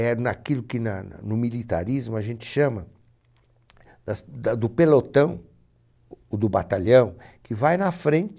É naquilo que na na, no militarismo a gente chama das da do pelotão, o do batalhão, que vai na frente